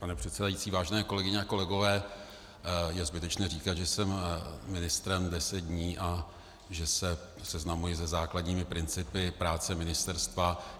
Pane předsedající, vážené kolegyně a kolegové, je zbytečné říkat, že jsem ministrem deset dní a že se seznamuji se základními principy práce ministerstva.